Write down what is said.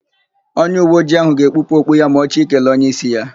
Onyeuweojii ahụ ga-ekpupụ okpu ya ma ọ chọ ikele onyeísí ya.